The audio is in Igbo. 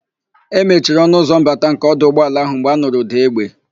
E mechiri ọnụ ụzọ mbata nke ọdụ ụgbọala ahụ mgbe anụrụ ụ̀dà égbè.